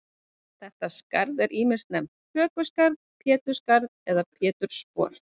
Þetta skarð er ýmis nefnt hökuskarð, pétursskarð eða pétursspor.